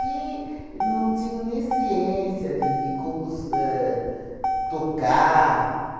não tinham nem ciência de de como su ahn tocar.